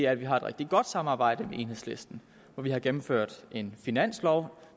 at vi har et rigtig godt samarbejde med enhedslisten vi har gennemført en finanslov